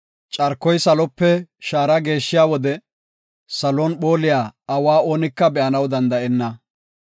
Carkoy salope shaara geeshshiya wode, salon phooliya awa oonika be7anaw danda7enna.